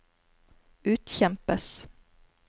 utkjempes